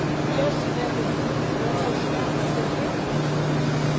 İki yüz doqquz min dörd yüz səkkiz min.